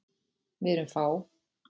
Við erum fá.